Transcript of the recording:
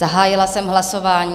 Zahájila jsem hlasování.